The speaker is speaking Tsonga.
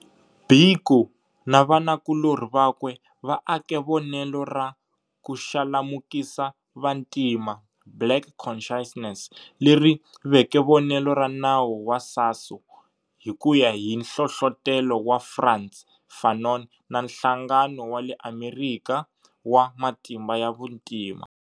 Biko na vanakulori vakwe va ake vonelo ra Kuxalamukisa Vantima, Black Conciousness, leri veke vonelo ra nawu wa SASO, hi kuya hi nhlohlotelo wa Frantz Fanon na nhlangano wa le Amerikha wa Matimba ya vuntima.